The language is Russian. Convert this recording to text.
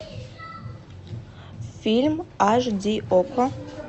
фильм аш ди окко